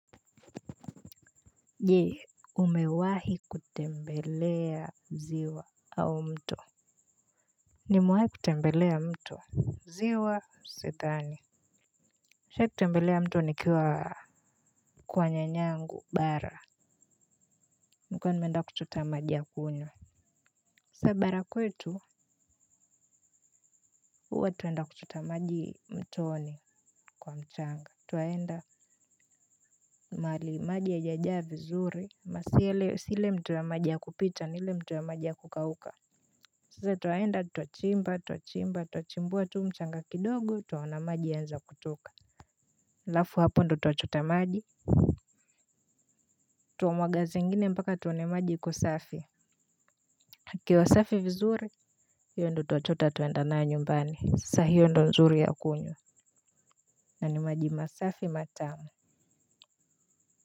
Je umewahi kutembelea ziwa au mto? Nimewai kutembelea mto, ziwa sidhani nishai kutembelea mto nikiwa kwa nyanyangu bara nilikuwa nimeenda kuchota maji ya kunywa sa bara kwetu huwa twaenda kuchota maji mtoni kwa mchanga. Twaenda mahali maji haija jaa vizuri na si ile, si ile mto ya maji ya kupita ni ile mto ya maji ya kukauka sisi twaenda twa chimba twa chimba twa chimbuwa tu mchanga kidogo twaona maji yaanza kutoka alafu hapo ndo twa chota maji. Twa mwaga zingine mpaka tuone maji iko safi ikiwa safi vizuri hiyo ndo twa chota twaenda nayo nyumbani sasa hiyo ndo nzuri ya kunywa na ni maji masafi matamu.